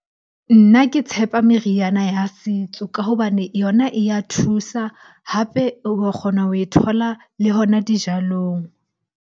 Nna ke tshepa meriana ya setso ka hobane yona e ya thusa, hape o wa kgona ho e thola le hona dijalong.